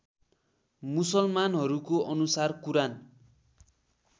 मुसलमनहरूको अनुसार कुरान